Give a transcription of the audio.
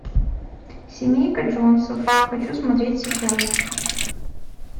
семейка джонсов хочу смотреть сейчас